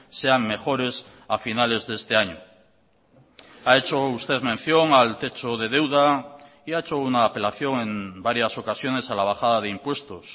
sean mejores a finales de este año ha hecho usted mención al techo de deuda y ha hecho una apelación en varias ocasiones a la bajada de impuestos